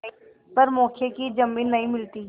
पर मौके की जमीन नहीं मिलती